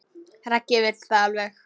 Raggi vill það alveg.